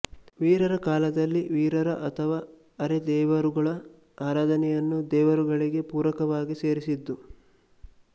ವೀರರ ಕಾಲದಲ್ಲಿ ವೀರರ ಅಥವಾ ಅರೆ ದೇವರುಗಳ ಆರಾಧನೆಯನ್ನು ದೇವರುಗಳಿಗೆ ಪೂರಕವಾಗಿ ಸೇರಿಸಿದ್ದು